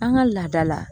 An ka laada la